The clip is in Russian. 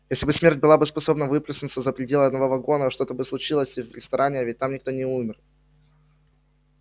если бы смерть была способна выплеснуться за пределы одного вагона что-то случилось бы и в ресторане а ведь там никто не умер